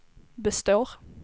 består